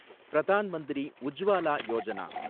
Pradhan Mantri Ujjwala Yojana